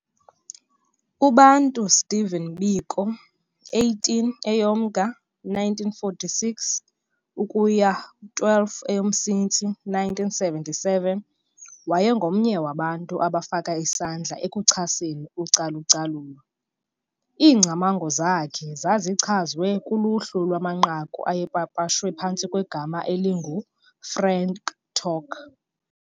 UBantu Stephen Biko, 18 EyoMnga 1946 - 12 EyoMsintsi 1977, wayengomnye wabantu abafaka isandla ekuchaseni ucalu-calulo. Iingcamango zakhe zazichazwe kuluhlu lwamanqaku ayepapashwe phantsi kwegama elingu "Frank Talk"